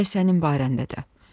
elə sənin barəndə də.